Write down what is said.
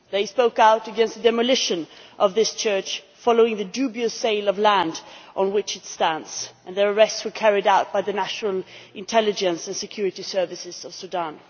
They spoke out against the demolition of this church, following the dubious sale of the land on which it stands, and their arrests were carried out by the National Intelligence and Security Services of Sudan.